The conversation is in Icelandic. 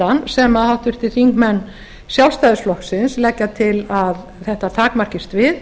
endurskoðunarskyldan sem háttvirtir þingmenn sjálfstæðisflokksins leggja til að þetta takmarkist við